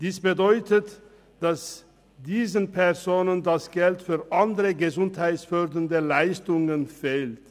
Dies bedeutet, dass diesen Personen das Geld für andere gesundheitsfördernde Leistungen fehlt.